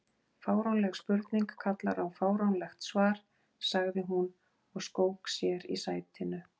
Fáránleg spurning kallar á fáránlegt svar sagði hún og skók sér í sætinu.